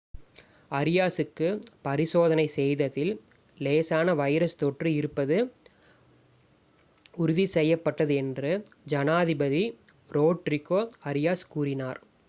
அரியாஸுக்கு பரிசோதனை செய்ததில் லேசான வைரஸ் தொற்று இருப்பது உறுதி செய்யப்பட்டது என்று ஜனாதிபதி ரோட்ரிகோ அரியாஸ் கூறினார்